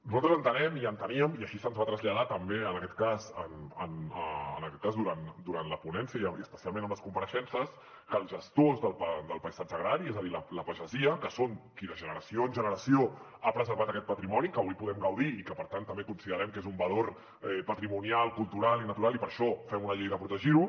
nosaltres entenem i enteníem i així se’ns va traslladar també en aquest cas durant la ponència i especialment amb les compareixences que els gestors del paisatge agrari és a dir la pagesia que són qui de generació en generació ha preservat aquest patrimoni de què avui podem gaudir i que per tant també considerem que és un valor patrimonial cultural i natural i per això fem una llei per protegir ho